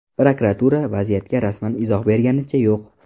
Prokuratura vaziyatga rasman izoh berganicha yo‘q.